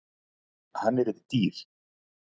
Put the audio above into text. Hann yrði dýr.